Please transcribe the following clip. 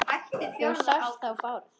Þú sást þó Bárð?